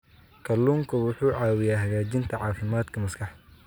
Kalluunku wuxuu caawiyaa hagaajinta caafimaadka maskaxda.